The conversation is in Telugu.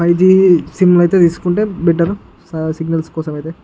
జిఓ సిం అయితే తీసుకుంటేయ్ బెటర్ సిగ్నల్స్ కుండా అలాగేయ్ --